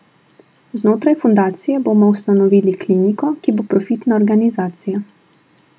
Znotraj fundacije bomo ustanovili kliniko, ki bo profitna organizacija.